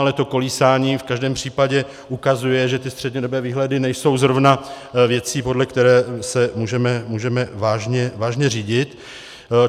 Ale to kolísání v každém případě ukazuje, že ty střednědobé výhledy nejsou zrovna věcí, podle které se můžeme vážně řídit.